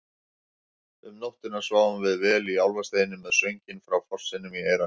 Um nóttina sváfum við vel í Álfasteini með sönginn frá fossinum í eyrunum.